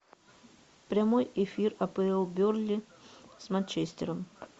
прямой эфир апл бернли с манчестером